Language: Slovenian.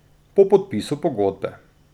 Po podpisu pogodbe.